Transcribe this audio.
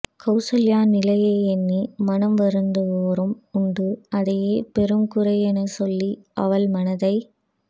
கௌசல்யா நிலையை எண்ணி மனம் வருந்துவோரும் உண்டு அதையே பெரும் குறையெனச் சொல்லி அவள் மனத்தை